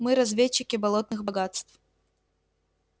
мы разведчики болотных богатств